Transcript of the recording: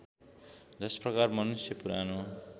जसप्रकार मनुष्य पुरानो